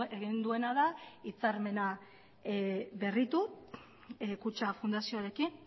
egin duena da hitzarmena berritu kutxa fundazioarekin